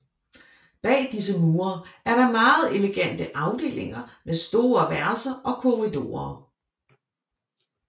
Bag disse mure er der meget elegante afdelinger med store værelser og korridorer